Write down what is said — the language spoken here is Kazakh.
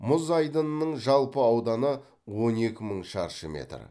мұз айдынының жалпы ауданы он екі мың шаршы метр